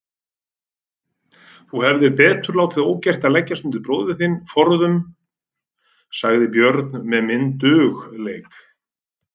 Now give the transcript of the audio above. Þú hefðir betur látið ógert að leggjast undir bróður þinn forðum, sagði Björn með myndugleik.